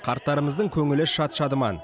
қарттарымыздың көңілі шат шадыман